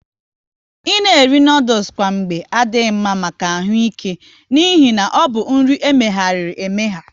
Ị na eri noodules kwa mgba adị mma maka ahụ ike n'ihi na ọbụ nri emeghariri emegha